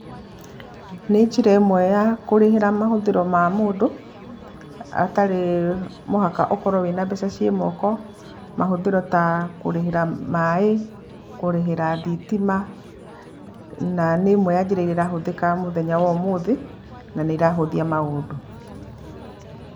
Nĩ njĩra ĩmwe ya kũrĩhĩra mahuthĩro ma mũndũ, atarĩ mũhaka ũkorwo na mbeca cirĩ moko. Mahũthĩro ta kũrĩhĩra maaĩ, kũrĩhĩra thitima na nĩ ĩmwe ya njĩra iria irahũthĩka mũthenya wa ũmũthĩ, na nĩ irahũthia maũndũ.